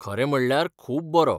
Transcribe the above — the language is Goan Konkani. खरें म्हणल्यार खूब बरो.